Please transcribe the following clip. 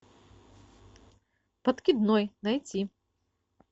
подкидной найти